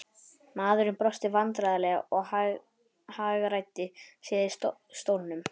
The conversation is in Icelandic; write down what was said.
Maðurinn brosti vandræðalega og hagræddi sér í stólnum.